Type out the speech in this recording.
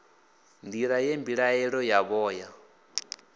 nḓila ye mbilaelo yavho ya